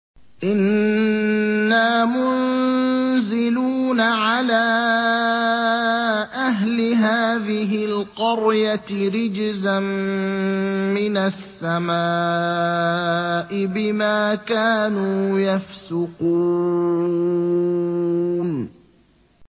إِنَّا مُنزِلُونَ عَلَىٰ أَهْلِ هَٰذِهِ الْقَرْيَةِ رِجْزًا مِّنَ السَّمَاءِ بِمَا كَانُوا يَفْسُقُونَ